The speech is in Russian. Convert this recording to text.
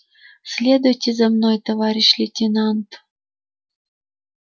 следуйте за мной товарищ лейтенант